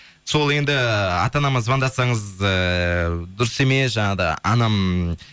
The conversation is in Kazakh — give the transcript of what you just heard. сол енді ата анама звондасаңыз ыыы дұрыс емес жаңағыдай анам